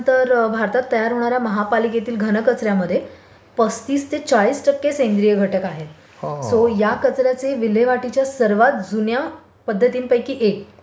तर भारतात तयार होणार् या महापालिकेतील घन कचर् यामध्ये पस्तीस ते चाळीस टक्के सेंद्रिय घटक आहेत सो या कचर् याचे विल्हेवाटीचे सर्वात जुन्या पध्दतीनपैकी एक सेंद्रिय पद्धतीने पुनरनविनिकरण केले जाऊ शकते